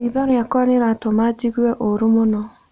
Riitho rĩakwa rĩratũma njigue ũũru mũno.